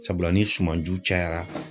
Sabula ni sumanju cayara